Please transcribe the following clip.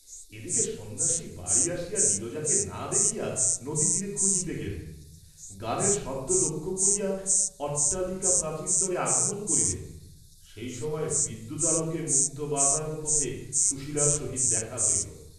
এদিকে সন্ন্যাসী বাড়ী আসিয়া নীরজাকে না দেখিয়া নদীতীরে খুঁজিতে গেলেন, গানের শব্দ লক্ষ্য করিয়া অট্টালিকাপ্রাচীরতলে আগমন করিলেন, সেই সময় বিদ্যুতালোকে মুক্তবাতায়ন পথে সুশীলার সহিত দেখা হইল।